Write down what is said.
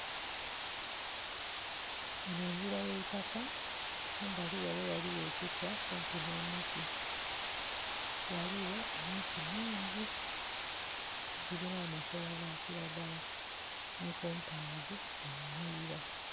Eno ngira y'eitaka kumbali ghale ghaligho ekiswa kumpi no muti, ghaligho emiti mingi gilina amakoola ga kiragala ni kompawundi enhilira.